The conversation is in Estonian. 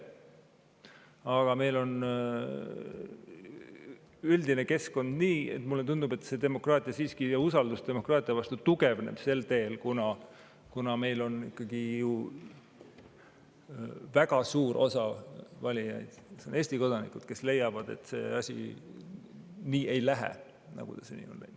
Aga meil on üldine keskkond selline, et mulle tundub, et siiski usaldus demokraatia vastu tugevneb sel teel, kuna meil on ikkagi ju väga suur osa valijaid Eesti kodanikud, kes leiavad, et see asi nii ei lähe.